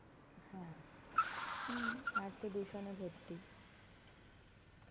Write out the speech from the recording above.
হ্যাঁ. হুম আর তো দূষণে ভর্তি.